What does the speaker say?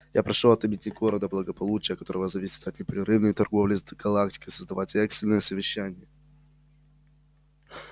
я прошу от имени города благополучие которого зависит от непрерывной торговли с галактикой создавать экстренное совещание